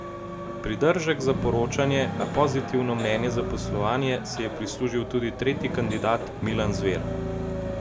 Pridržek za poročanje, a pozitivno mnenje za poslovanje, si je prislužil tudi tretji kandidat Milan Zver.